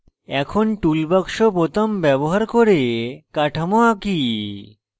এখন toolbox বোতাম ব্যবহার করে কাঠামো আঁকি